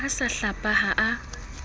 a sa hlapa ha a